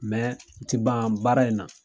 o ti ban baara in na.